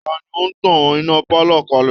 Ta ni ó tan iná pálọ̀ kalẹ̀